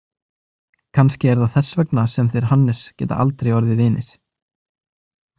Kannski er það þess vegna sem þeir Hannes geta aldrei orðið vinir.